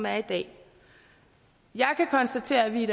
er i dag jeg kan konstatere at vi